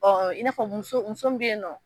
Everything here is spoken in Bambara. i n'a fɔ muso muso be yen nɔ